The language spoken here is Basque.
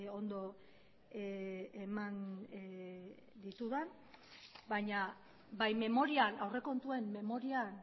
ondo eman ditudan baina bai memorian aurrekontuen memorian